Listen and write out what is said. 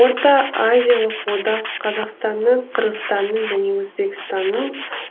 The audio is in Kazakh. орта азиялық одақ қазақстаның қырғызстанның және өзбекстанның